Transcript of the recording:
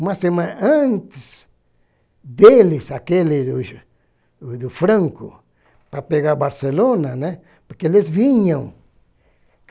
Uma semana antes deles, aqueles do Franco, para pegar Barcelona, né, porque eles vinham.